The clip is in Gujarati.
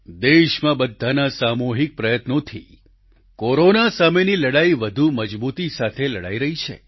દેશમાં બધાના સામૂહિક પ્રયત્નોથી કોરોના સામેની લડાઈ વધુ મજબૂતી સાથે લડાઈ રહી છે